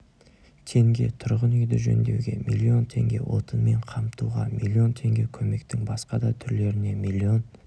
теңге тұрғын үйді жөндеуге миллион теңге отынмен қамтуға миллион теңге көмектің басқа да түрлеріне миллион